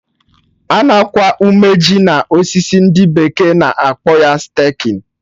Ana akwa ume ji na osisi, ndị bekee na akpọ ya 'staking'